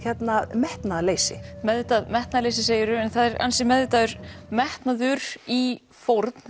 metnaðarleysi meðvitað metnaðarleysi segir þú en það er anski meðvitaður metnaður í fórn